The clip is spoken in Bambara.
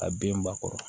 A den ba kɔrɔ